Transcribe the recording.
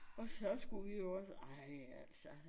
Og så skulle vi jo også ej altså